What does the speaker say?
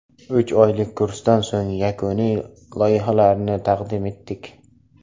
Uch oylik kursdan so‘ng yakuniy loyihalarni taqdim etdik.